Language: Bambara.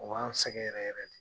O yan sɛgɛn yɛrɛ yɛrɛ de.